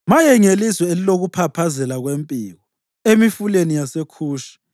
Maye ngelizwe elilokuphaphazela kwempiko emifuleni yaseKhushi,